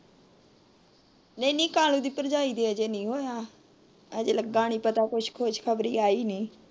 ਨਹੀਂ ਨਹੀਂ ਕਾਲੀ ਦੀ ਭਰਜਾਈ ਦੇ ਅਜੇ ਨਹੀਂ ਹੋਇਆ। ਅਜੇ ਲੱਗਾ ਨਹੀਂ ਪਤਾ ਕੁੱਛ ਖੁਸ਼ਖਬਰੀ ਆਈ ਨਹੀਂ।